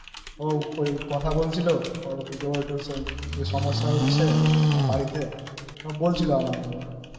ওই কথা বলছিল অন্য সমস্যা হচ্ছে ওর বাড়িতে বলছিল